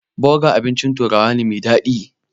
Boga abincin turawa ne mai daɗi.